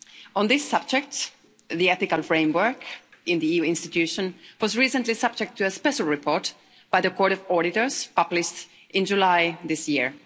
On this subject, the ethical framework in the EU institutions was recently subject to a special report by the Court of Auditors, published in July this year.